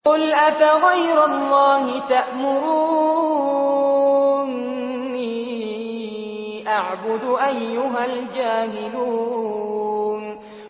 قُلْ أَفَغَيْرَ اللَّهِ تَأْمُرُونِّي أَعْبُدُ أَيُّهَا الْجَاهِلُونَ